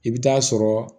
I bɛ taa sɔrɔ